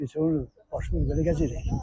Biz onu başımız belə gəzirik.